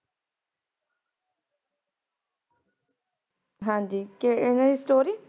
ਹਾਂਜੀ ਕੇ ਏਵੇਮ ਸਟੋਰੀ